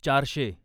चारशे